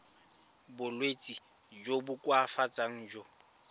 bolwetsi jo bo koafatsang jo